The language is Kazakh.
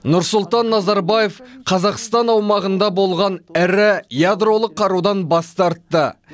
нұрсұлтан назарбаев қазақстан аумағында болған ірі ядролық қарудан бас тартты